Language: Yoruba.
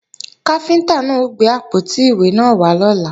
Káfíntá náà ó gbé àpótí ìwé náà wá lọ́la